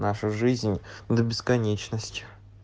нашу жизнь до бесконечности